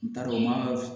N t'a dɔn n man